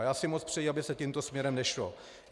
A já si moc přeju, aby se tímto směrem nešlo.